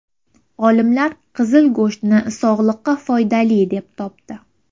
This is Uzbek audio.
Olimlar qizil go‘shtni sog‘liqqa foydali deb topdi.